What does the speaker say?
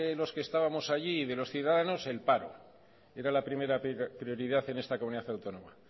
los que estábamos allí y de los ciudadanos el paro era la primera prioridad en esta comunidad autónoma